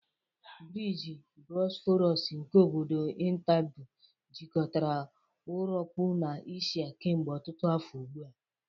Briji Bosforus nke obodo Istanbu jikọtara Úropu na Eshia kemgbe ọtụtụ afọ ugbu a.